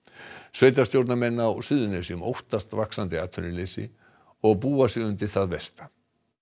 sveitarstjórnarmenn á Suðurnesjum óttast vaxandi atvinnuleysi og búa sig undir það versta